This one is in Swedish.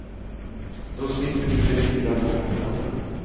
Då slipper du de dyra topplånen.